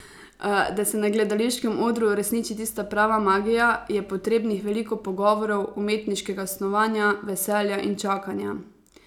Da se na gledališkem odru uresniči tista prava magija, je potrebnih veliko pogovorov, umetniškega snovanja, veselja in čakanja.